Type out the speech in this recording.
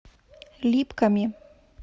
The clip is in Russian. липками